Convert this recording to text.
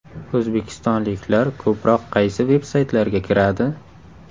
O‘zbekistonliklar ko‘proq qaysi veb-saytlarga kiradi?